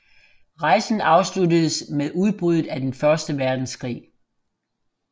Rejsen afsluttedes med udbruddet af den første verdenskrig